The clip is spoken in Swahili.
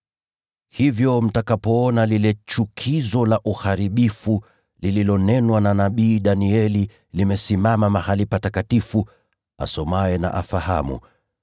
“Hivyo mtakapoona lile ‘chukizo la uharibifu’ lililonenwa na nabii Danieli limesimama mahali patakatifu (asomaye na afahamu),